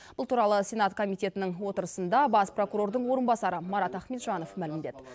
бұл туралы сенат комитетінің отырысында бас прокурордың орынбасары марат ахметжанов мәлімдеді